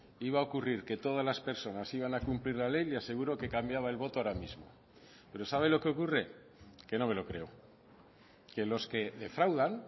iba a ocurrir que todas las personas iban a cumplir la ley le aseguro que cambiaba el voto ahora mismo pero sabe lo que ocurre que no me lo creo que los que defraudan